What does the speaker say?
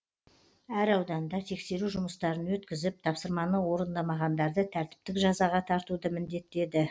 әр ауданда тексеру жұмыстарын өткізіп тапсырманы орындамағандарды тәртіптік жазаға тартуды міндеттеді